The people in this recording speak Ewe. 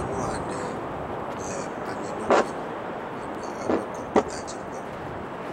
Nyɔnu aɖe le anyinɔƒe henɔ eƒe kɔmpyia dzi kpɔm